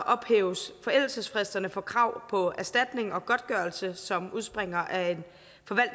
ophæves forældelsesfristerne for krav på erstatning og godtgørelse som udspringer af